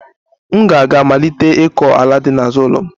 M ga-aga malite ịkọ ala dị n'azụ ụlọ m